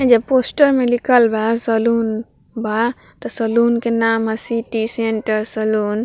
जो पोस्टर में लिखल बा सलून बा त सलून का नाम हई सिटी सेंटर सलून ।